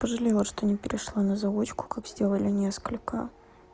пожалела что не перешла на заочное как сделали несколько